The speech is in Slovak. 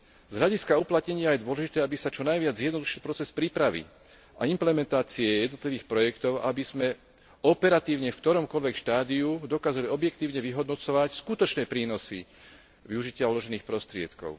Z hľadiska uplatnenia je dôležité, aby sa čo najviac zjednodušil proces prípravy a implementácie jednotlivých projektov, aby sme operatívne v ktoromkoľvek štádiu dokázali objektívne vyhodnocovať skutočné prínosy využitia uložených prostriedkov.